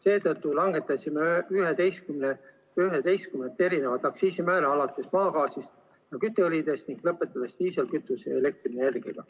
Seetõttu langetasime 11 aktsiisimäära alates maagaasist ja kütteõlidest ning lõpetades diislikütuse ja elektrienergiaga.